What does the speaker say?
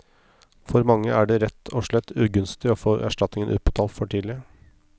For mange er det rett og slett ugunstig å få erstatningen utbetalt for tidlig.